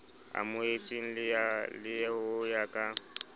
amohetsweng le ho ya ka